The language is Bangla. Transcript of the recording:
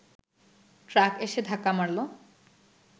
ট্রাক এসে ধাক্কা মারল